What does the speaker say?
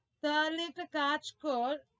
তাহলে একটা কাজ কর।